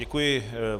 Děkuji.